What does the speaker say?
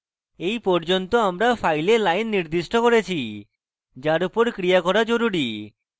এই পর্যন্ত আমরা file lines নির্দিষ্ট করেছি যার উপর ক্রিয়া করা জরুরী